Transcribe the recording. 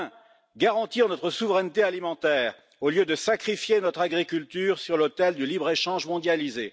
Premièrement, garantir notre souveraineté alimentaire au lieu de sacrifier notre agriculture sur l'autel du libre échange mondialisé.